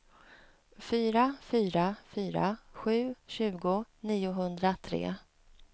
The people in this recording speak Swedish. fyra fyra fyra sju tjugo niohundratre